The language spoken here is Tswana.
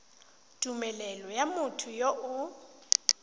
tumelelo ya motho yo o